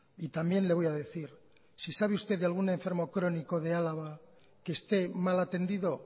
y también le voy a decir si sabe usted de algún enfermo crónico de álava que esté mal atendido